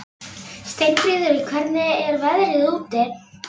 Steinfríður, hvernig er veðrið úti?